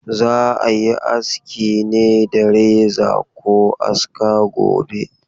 Za a yi aski ne da reza ko aska gobe.